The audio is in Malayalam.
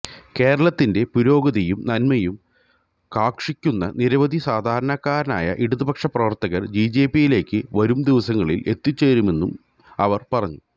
കേരളത്തിന്റെ പുരോഗതിയും നന്മയും കാംക്ഷിക്കുന്ന നിരവധി സാധാരണക്കാരായ ഇടതുപക്ഷപ്രവര്ത്തകര് ബിജെപിയിലേക്ക് വരുംദിനങ്ങളില് എത്തിച്ചേരുമെന്നും അവര് പറഞ്ഞു